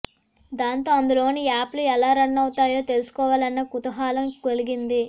దాంతో అందులోని యాప్లు ఎలా రన్ అవుతాయో తెలుసుకోవాలన్న కుతూహలం కలిగింది